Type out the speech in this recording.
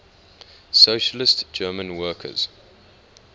socialist german workers